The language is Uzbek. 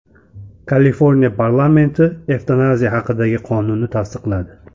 Kaliforniya parlamenti evtanaziya haqidagi qonunni tasdiqladi.